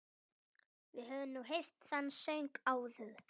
Við höfum nú heyrt þann söng áður.